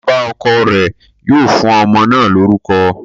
Bàbá ọkọ̀ rẹ̀ yóò fún ọmọ náà lórúkọ